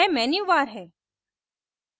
यह मेन्यूबार है